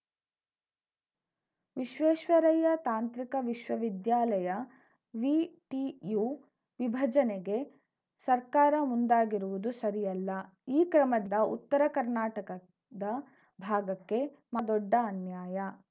ವಿಶ್ವೇಶ್ವರಯ್ಯ ತಾಂತ್ರಿಕ ವಿಶ್ವವಿದ್ಯಾಲಯವಿಟಿಯು ವಿಭಜನೆಗೆ ಸರ್ಕಾರ ಮುಂದಾಗಿರುವುದು ಸರಿಯಲ್ಲ ಈ ಕ್ರಮದ ಉತ್ತರ ಕರ್ನಾಟಕದ ಭಾಗಕ್ಕೆ ಮಾ ದೊಡ್ಡ ಅನ್ಯಾಯ